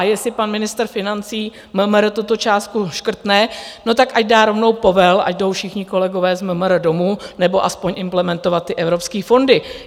A jestli pan ministr financí MMR tuto částku škrtne, no tak ať dá rovnou povel, ať jdou všichni kolegové z MMR domů, nebo aspoň implementovat ty evropské fondy.